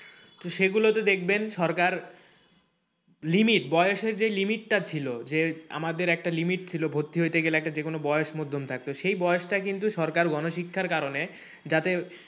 তো সেগুলোতে দেখবেন সরকার limit বয়সের যে limit টা ছিল যে আমাদের একটা limit ছিল ভর্তি হইতে গেলে একটা যেকোন বয়স মধ্যম থাকতো সেই বয়সটা কিন্তু সরকার গণশিক্ষার কারণে যাতে,